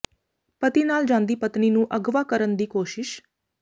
ਪਤੀ ਨਾਲ ਜਾਂਦੀ ਪਤਨੀ ਨੂੰ ਅਗ਼ਵਾ ਕਰਨ ਦੀ ਕੋਸ਼ਿਸ਼